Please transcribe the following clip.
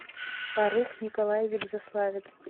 фаррух николаевич заславец